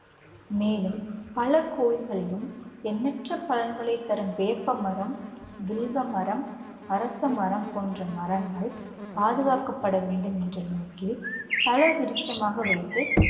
மேலும் பல கோயில்களிலும் எண்ணற்ற எண்ணற்ற பயன்களை தரும் வேப்பமரம், வில்வமரம், அரசமரம் போன்ற மரங்கள் பாதுகாக்கப்பட வேண்டும் என்ற நோக்கில் தல விருட்சமாக வைத்து